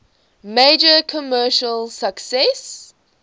major commercial success